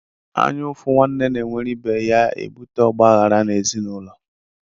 Anya ufu nwanne na enwere ibe ya a ebute ogbaghara n' ezinaūlo.